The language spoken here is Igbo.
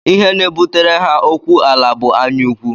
Ihe na-ebutere ha okuw ala bụ anyaụkwụ